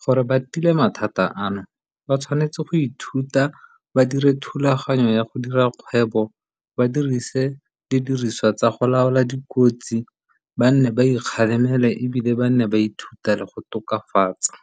Gore ba tile mathata ano ba tshwanetse go ithuta ba dire thulaganyo ya go dira kgwebo ba dirise didiriswa tsa go laola dikotsi ba nne ba ikgalemele, ebile ba nne ba ithuta le go tokafatsa.